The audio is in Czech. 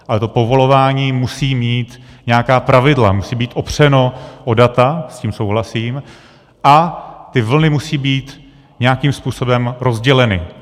Ale to povolování musí mít nějaká pravidla, musí být opřeno o data, s tím souhlasím, a ty vlny musí být nějakým způsobem rozděleny.